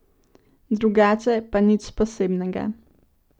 Drugače pa nič posebnega.